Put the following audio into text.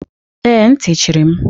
Ee, ntị chiri m.